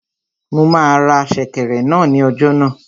Mo máa ra sèkẹ̀rẹ̀ náà ní ọjà náà